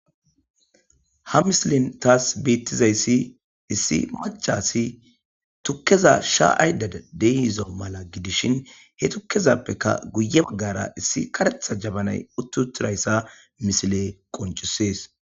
ha misilin taas beettizayssi issi machasi tukkeza sha ayda deiizo mala gidishin he tukkezappeka guye baggara issi karetha jabanay uttutirayssa misile qoncisees